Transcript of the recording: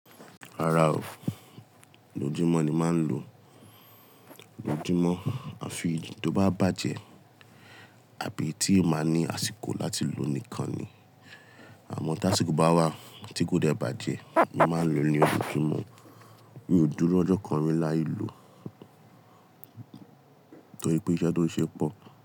Rárá o, ojójúmọ́ ni máa ń lo. Lójúmọ́, àfi tí ó bá bàjẹ́ àbí tí n máa ní àsìkò láti lò nìkan ni. Àmọ́ tí àsìkò bá wà tí kò dẹ bàjẹ́, mo máa ń lò ní ojúmọ́. Mi ò dúró ọjọ́ kan rí láì lò torí pé iṣẹ́ tó ń ṣe pọ̀